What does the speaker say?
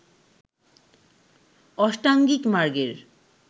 অষ্টাঙ্গিক মার্গের